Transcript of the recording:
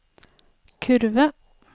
kurve